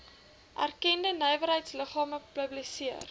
erkende nywerheidsliggame publiseer